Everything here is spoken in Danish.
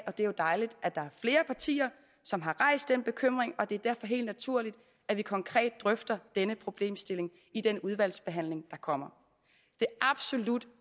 og det er jo dejligt at der er flere partier som har rejst den bekymring og det er derfor helt naturligt at vi konkret drøfter denne problemstilling i den udvalgsbehandling der kommer det absolut